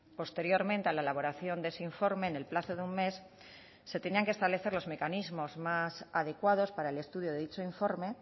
posteriormente a la elaboración de ese informe en el plazo de un mes se tenían que establecer los mecanismos más adecuados para el estudio de dicho informe